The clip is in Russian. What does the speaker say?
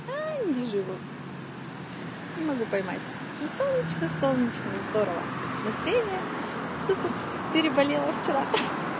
ай до живу не могу поймать солнечный солнечный здорово настроение супер переболела вчера